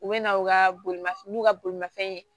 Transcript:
U bɛ na u ka bolimafɛn n'u ka bolimafɛn